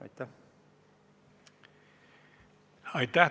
Aitäh!